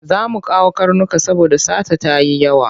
Za mu kawo karnuka saboda sata ta yi yawa.